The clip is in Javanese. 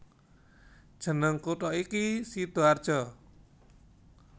Jeneng kutha iki Sidoarjo